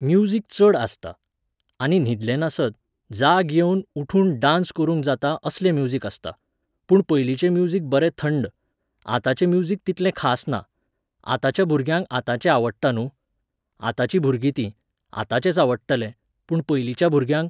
Music चड आसता. आनी न्हिदले नासत, जाग येवन उठून डान्स करूंक जाता असलें म्युजिक आसता. पूण पयलींचें म्युजिक बरे थंड. आताचें म्युजिक तितलें खास ना. आतांच्या भुरग्यांक आताचें आवडटां न्हूं. आताचीं भुरगीं तीं, आताचेंच आवडटलें, पूण पयलींच्या भुरग्यांक